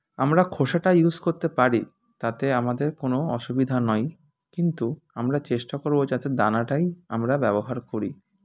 আমরা খোসাটা use করতে পারি তাতে আমাদের কোনো অসুবিধা নই কিন্তু আমরা চেষ্টা করবো যাতে দানাটাই আমরা ব্যবহার করি